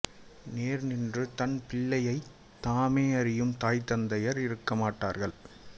நேர் நின்று தம்பிள்ளையைத் தாமே அரியும் தாய் தந்தையார் இருக்கமாட்டார்கள்